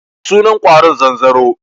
Sunan ƙwaron zanzaro.